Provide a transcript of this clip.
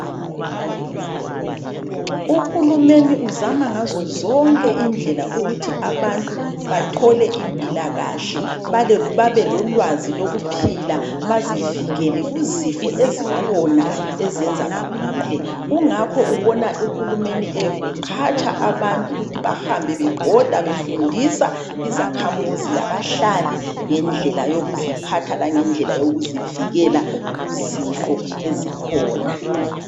Uhulumeni uzama ngazo zonke indlela ukuthi abantu bathole impilakahle. Babelolwazi lokuphila. Bazivikele kuzifo ezikhona, ezenza bagule. Kungakho ubona uhulumeni eqhatsha abantu ukuthi bahambe bebhoda, befundisa izakhamizi, labahlali, ngendlela yokuziphatha, langendlela yokuzivikela kuzifo ezikhona.